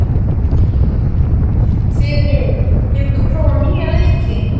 Þyri, hefur þú prófað nýja leikinn?